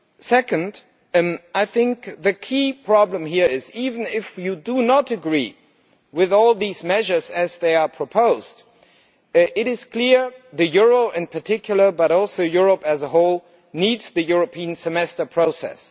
Secondly, I think the key problem here is that, even if you do not agree with all of these measures as they are proposed, it is clear that the euro in particular, but also Europe as a whole, needs the European Semester process.